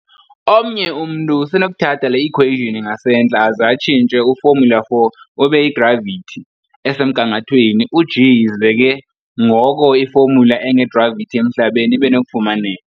Omnye umntu usenokuthatha le-equation ingasentla aze atshintshe u-formula_4 ube yi-gravity "esemgangathweni u-g", ize ke ngoko i-formula enge-gravity emhlabeni ibenokufumaneka.